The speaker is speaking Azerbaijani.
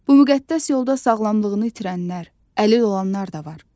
Bu müqəddəs yolda sağlamlığını itirənlər, əlil olanlar da var.